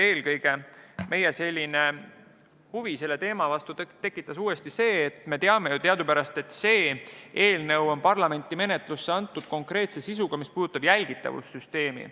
Eelkõige tekitas meie huvi selle teema vastu uuesti see, et me teadupärast teame, et see eelnõu on parlamenti menetlusse antud konkreetse sisuga, mis puudutab jälgitavussüsteemi.